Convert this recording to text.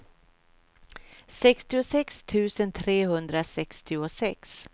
sextiosex tusen trehundrasextiosex